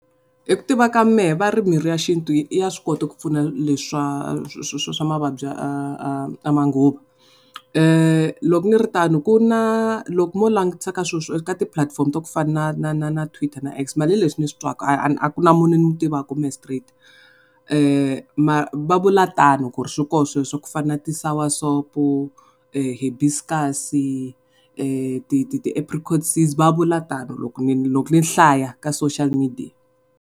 Hi ku tiva ka mehe va ri mirhi ya xintu ya swi kota ku pfuna leswa swa mavabyi ya manguva loko ni ri tano ku na loko mo langutisa ka ka ti pulatifomo to fana na Twitter na X mara hileswi ni swi twaka a ku na munhu ni mu tivaka mehe straight va vula tano ku ri swi kona sweswo ku fana na ti sour soap, , ti ti ti apricot seeds va vula tano loko ni ni loko ni hlaya ka social media.